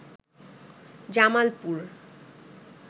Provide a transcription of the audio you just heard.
Jamalpur